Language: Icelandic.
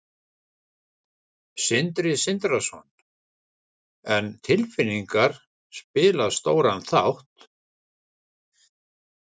Sindri Sindrason: En tilfinningar spila stóran þátt?